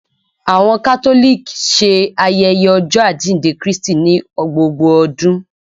Awọn Catholic ṣe ayẹyẹ Ọjọ ajínde Krístí ni gbógbó ọdún